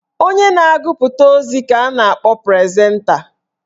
Onye na-agụpụta ozi ka a na-akpọ prezenta.